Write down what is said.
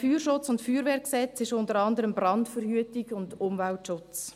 Die Ziele des FFG sind unter anderem Brandverhütung und Umweltschutz.